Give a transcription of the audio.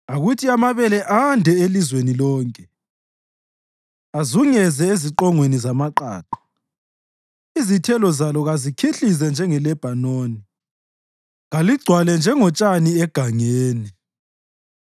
Akuthi amabele ande elizweni lonke; azunguze eziqongweni zamaqaqa. Izithelo zalo kazikhihlize njengeLebhanoni; kaligcwale njengotshani egangeni.